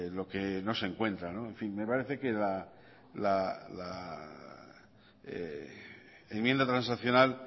lo que no se encuentra en fin me parece que la enmienda transaccional